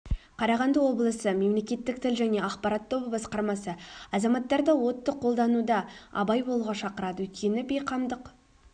қарағанды облысы мемлекеттік тіл және ақпарат тобы басқармасы азаматтарды отты қолдануда абай болуға шақырады өйткені бейқамдық